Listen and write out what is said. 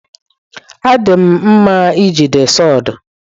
Adị m mma n'iji sawdu.